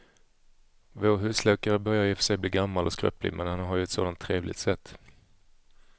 Vår husläkare börjar i och för sig bli gammal och skröplig, men han har ju ett sådant trevligt sätt!